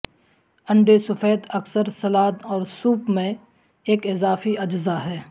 انڈے سفید اکثر سلاد اور سوپ میں ایک اضافی اجزاء ہے